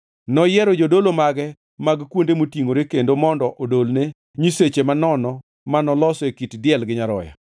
Noyiero jodolo mage mag kuonde motingʼore kendo mondo odolne nyiseche manono manoloso e kit diel gi nyaroya.